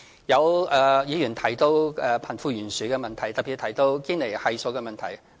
有議員提到貧富懸殊的問題，特別提到堅尼系數的問題。